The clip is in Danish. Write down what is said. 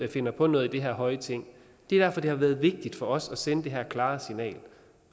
finder på noget i det her høje ting det er derfor det har været vigtigt for os at sende det her klare signal